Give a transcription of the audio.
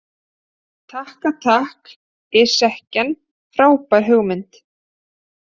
Takka takk ytskken frábær hugmynd.